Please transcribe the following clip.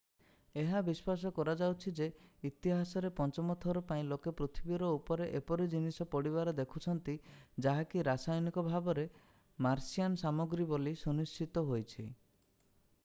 ଏହା ବିଶ୍ୱାସ କରାଯାଉଛି ଯେ ଇତିହାସରେ ପଞ୍ଚମ ଥର ପାଇଁ ଲୋକେ ପୃଥିବୀ ଉପରେ ଏପରି ଜିନିଷ ପଡ଼ିବାର ଦେଖୁଛନ୍ତି ଯାହାକି ରାସାୟନିକ ଭାବରେ ମାର୍ସିଆନ୍ ସାମଗ୍ରୀ ବୋଲି ସୁନିଶ୍ଚିତ ହୋଇଛି